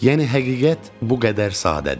Yəni həqiqət bu qədər sadədir.